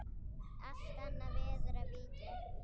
Allt annað verður að víkja.